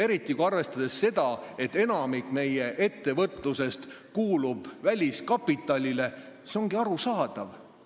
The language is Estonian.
Eriti, kui arvestada seda, et enamik meie ettevõtlusest kuulub väliskapitalile, ongi see arusaadav.